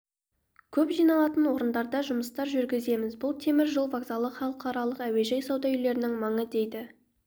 көп жиналатын орындарда жұмыстар жүргіземіз бұл темір жол вокзалы халықаралық әуежай сауда үйлерінің маңы деді